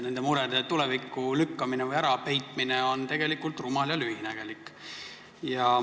Nende murede tulevikku lükkamine või ärapeitmine on tegelikult rumal ja lühinägelik.